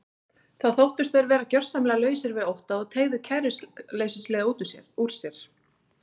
Þá þóttust þeir vera gjörsamlega lausir við ótta og teygðu kæruleysislega úr sér.